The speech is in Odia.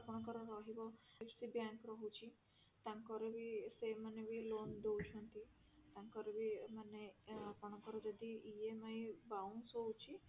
ଆପଣଙ୍କର ରହିବ IFC bank ରହୁଛି ତାଙ୍କର ବି ସେମାନେ ବି loan ଦଉଛନ୍ତି ତାଙ୍କର ବି ମାନେ ଆ ଆପଣଙ୍କର ଯଦି EMI bounce ହଉଛି